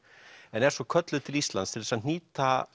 en er svo kölluð til Íslands til þess að hnýta